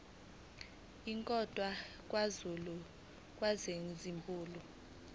inkondlo kazulu kwakuyizibulo